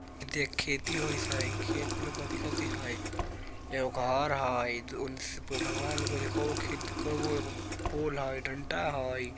देख खेती होत हई खेत में हई एगो घर हई पोल हई डंडा हई।